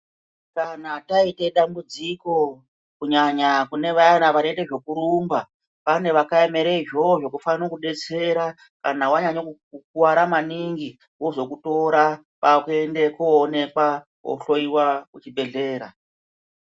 Kana taite dambudziko ,kunyanya kune vaya vanoite zvekurumba, pane vakaemere izvozvo zvekufane kudetsera ,kana wanyanye kukuwara maningi, vozokutora kwakuende koonekwa kohloiwa kuchibhedhlera.